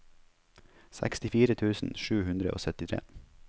sekstifire tusen sju hundre og syttitre